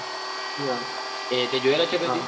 તે જોએલા કદી?